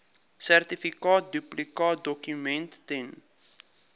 sertifikaat duplikaatdokument ten